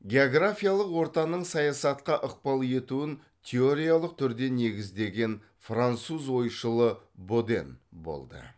географиялық ортаның саясатқа ықпал етуін теориялық түрде негіздеген француз ойшылы боден болды